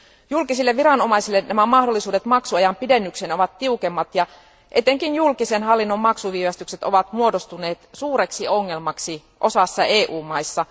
Julkisille viranomaisille nämä mahdollisuudet maksuajan pidennykseen ovat tiukemmat ja etenkin julkisen hallinnon maksuviivästykset ovat muodostuneet suureksi ongelmaksi osassa EU maista.